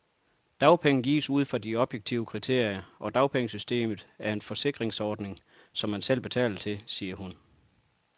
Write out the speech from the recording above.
Dagpenge gives ud fra objektive kriterier, og dagpengesystemet er en forsikringsordning, som man selv betaler til, siger hun.